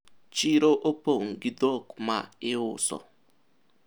soko kumejaa ng'ombe wa kuuzwa